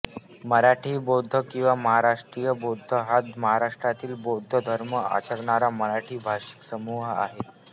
मराठी बौद्ध किंवा महाराष्ट्रीय बौद्ध हा महाराष्ट्रातील बौद्ध धर्म आचरणारा मराठी भाषिक समूह आहे